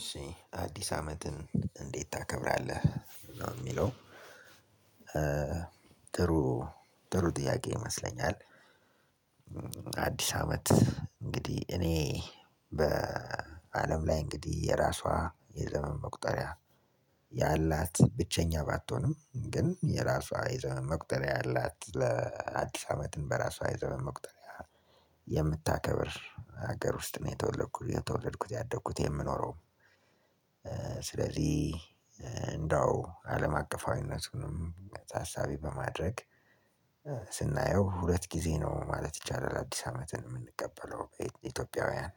እሺ አዲስ አመትን እንዴት ታከብራለህ? ነው የሚለው ጥሩ ጥያቄ ይመስለኛል አዲስ አመት። እንግዲህ የራሷ የዘመን መቁጠሪያ ያላት ብቸኛ ባትሆንም ግን የራሷ የዘመን መቁጠሪያ ያላት ለአዲስ አመትን በራሷ የዘመን መቁጠሪያ የምታከብር ሀገር ውስጥ ነው የተወለድኩት፣ ያደግኩት፣ የምኖረውም። ስለዚህ እንደው አለም አቀፋዊነቱንም ታሳቢ በማድረግ ስናየው ሁለት ጊዜ ነው ማለት ይቻላል አዲስ አመትን የምንቀበለው ኢትዮጵያውያን።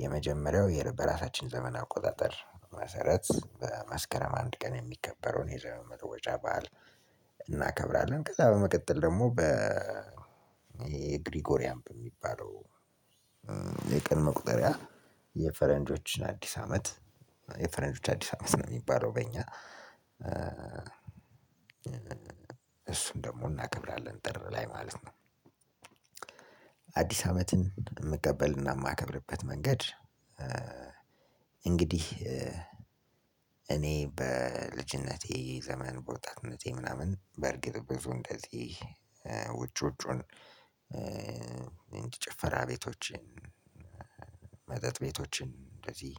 የመጀመሪያው በራሳችን ዘመን አቆጣጠር መሰረት በመስከረም አንድ ቀን የሚከበረውን የዘመን መለወጫ በዓል እናከብራለን ከዛ በመቀጠል ደግሞ በ የግሪጎሪያምፕ በሚባለው የቀን መቁጠሪያ የፈረንጆችን አዲስ አመት የፍረንጆች አዲስ አመት ነው የሚባለው በእኛ እሱን ደግሞ እናከብራለን ጥር ላይ ማለት ነው። አዲስ አመትን ምቀበል እና ማከብርበት መንገድ እንግዲህ እኔ በልጅነቴ ዘመን በወጣትነቴ ምናምን በእርግጥ ብዙ እንደዚህ ውጭውጪውን ጭፈራ ቤቶችን፣ መጠጥ ቤቶችን እንደዚህ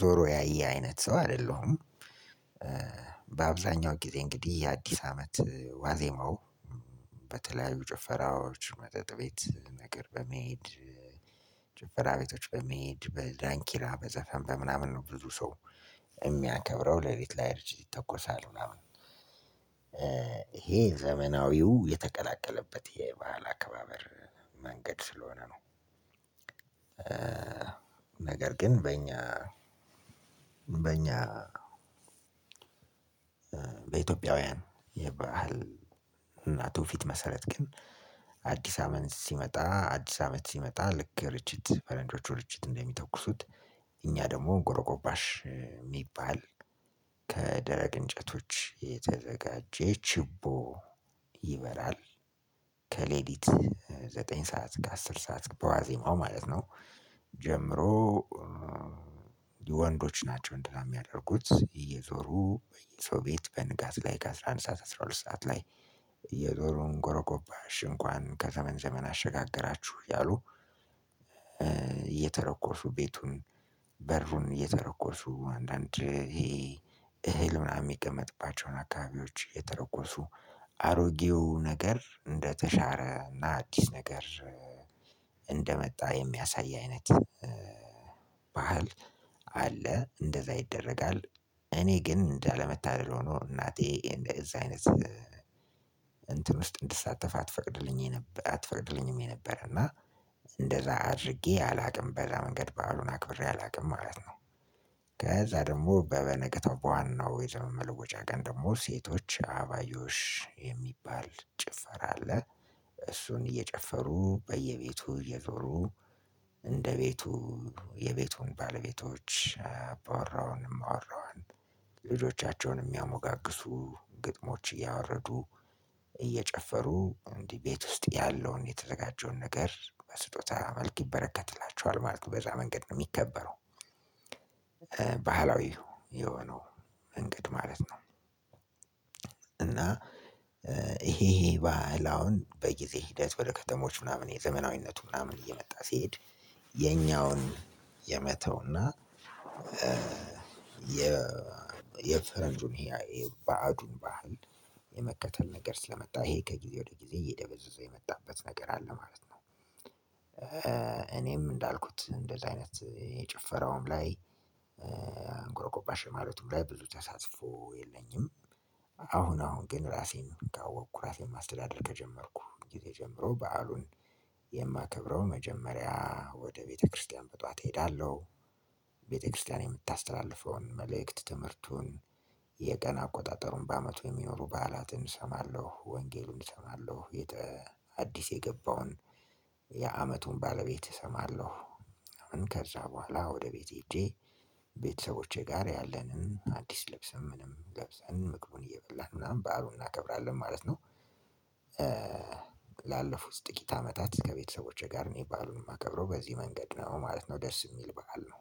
ዞሮ ያየ አይነት ሰው አይደለሁም። በአብዛኛው ጊዜ እንግዲህ የአዲስ አመት ዋዜማው በተለያዩ ጭፈራዎች መጠጥ ቤት ነገር በመሄድ ጭፈራ ቤቶች በሚሄድ በዳንኪራ በዘፈን በምናምን ነው ብዙ ሰው የሚያከብረው ለሊት ላይ ርጅት ይተኮሳል ምናምን ይሄ ዘመናዊው የተቀላቀለበት የባህል አከባበር መንገድ ስለሆነ ነው። ነገር ግን በእኛ በኢትዮጵያዊያን የባህል እና ትውፊት መሰረት ግን አዲስ አመት ሲመጣ ልክ ፈረንጆቹ ርቺት እንደ ሚተኩሱት እኛ ደግሞ ጎሮጎባሽ የሚባል ከደረቅ እንጨቶች የተዘጋጀ ቺቦ ይበራል። ከሌሊት ዘጠኝ እሰከ አስር በዋዜማው ማለት ነው። ጀምሮ ወንዶች ናቸው እንዲህ የሚያደርጉት እየዞሩ በየሰው ቤቱ በንጋት ላይ ከአስራ አንድ፣ አስራ ሁለት ሰዓት ላይ የዘሩ ጎሮጎባሽ እንኳን ከዘመን ዘመን አሸጋገራችሁ እያሉ እየተረኮሱ ቤቱን በሩን እየተረኮሱ አንዳንድ ይሄ እህል ምናምን የሚቀመጥባቸውን አካባቢዎች የተረጎሱ አሮጌው ነገር እንደተሻረ እና አዲስ ነገር እንደመጣ የሚያሳይ አይነት ባህል አለ እንደዛ ይደረጋል። እኔ ግን እንዳለመታደል ሆኖ እናቴ እንደዚህ አይነት እንትን ውስጥ እንድሳተፍ አትፈቅድልኝም ነበር። አትፈቅድልኝም ነበረ እና እንደዛ አድርጌ አላውቅም በዛ መንገድ ባአሉን አክብሬ አላውቅም ማለት ነው። ከዛ ደግሞ በበነገታው በዋናው የዘመን መለወጫ ቀን ደግሞ ሴቶች አባባዮሽ የሚባል ጭፈራ አለ እሱን እየጨፈሩ በየቤቱ እየዞሩ እንደ ቤቱ የቤቱን ባለቤቶች አባወራውን፣ እማወራዋን፣ ልጆቻቸውን የሚያሞጋግሱ ግጥሞች እያወረዱ እየጨፈሩ እንዲህ ቤት ውስጥ ያለውን የተዘጋጀውን ነገር በስጦታ መልክ ይበረከትላቸዋል ማለት ነው በዛ መንገድ ነው የሚከበረው። ባህላዊው የሆነው መንገድ ማለት ነው እና ይሄ ባህል አሁን በጊዜ ሂደት ወደ ከተሞች ምናምን የዘመናዊነቱ ምናምን እየመጣ ሲሄድ የኛውን የመተውና የፈረንጁን የባዕዱን ባህል የመከተል ነገር ስለመጣ ይሄ ከጊዜ ወደ ጊዜ እየደበዘዘ የመጣበት ነገር አለ ማለት ነው። እኔም እንዳልኩት እንደዚህ አይነት የጭፈራውም ላይ ጎረጎባሸ ማለቱም ላይ ብዙ ተሳትፎ የለኝም። አሁን አሁን ግን ራሴን ካወቅኩ ራሴን ማስተዳደር ከጀመርኩ ጊዜ ጀምሮ በዓሉን የማከብረው መጀመሪያ ወደ ቤተክርስቲያን በጧት እሄዳለሁ ቤተክርስቲያን የምታስተላልፈውን መልእክት ትምህርቱን የቀን አቆጣጠሩን በአመቱ የሚኖሩ በዓላትን እሰማለሁ። ወንጌልን እሰማለሁ። አዲስ የገባውን የአመቱን ባለቤት እሰማለሁ ከዛ በኋላ ወደ ቤቴ ሄጄ ቤተሰቦቼ ጋር ያለንን አዲስ ልብስም ምንም ለብሰን ምግቡን እየበላን ምናምን ባህሉን እናከብራለን ማለት ነው። ላለፉት ጥቂት አመታት ከቤተሰቦቼ ጋር ነው የሚባሉን የማከብረው በዚህ መንገድ ነው ማለት ነው ደስ የሚል በዓል ነው